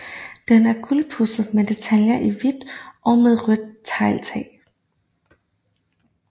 Den er gulpudset med detaljer i hvidt og med rødt tegltag